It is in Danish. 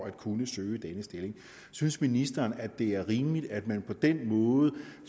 at kunne søge denne stilling synes ministeren at det er rimeligt at man på den måde